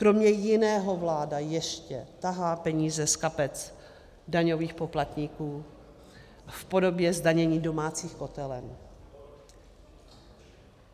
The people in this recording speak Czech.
Kromě jiného vláda ještě tahá peníze z kapes daňových poplatníků v podobě zdanění domácích kotelen.